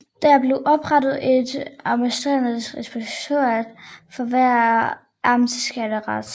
Der blev oprettet et amtsligningsinspektorat for hver amtsskattekreds